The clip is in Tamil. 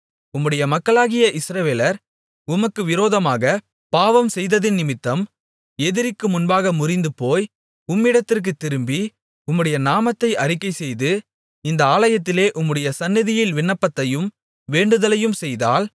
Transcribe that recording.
உம்முடைய மக்களாகிய இஸ்ரவேலர் உமக்கு விரோதமாகப் பாவம் செய்ததினிமித்தம் எதிரிக்கு முன்பாக முறிந்துபோய் உம்மிடத்திற்குத் திரும்பி உம்முடைய நாமத்தை அறிக்கைசெய்து இந்த ஆலயத்திலே உம்முடைய சந்நிதியில் விண்ணப்பத்தையும் வேண்டுதலையும் செய்தால்